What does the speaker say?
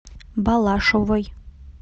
балашовой